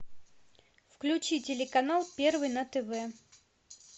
включи телеканал первый на тв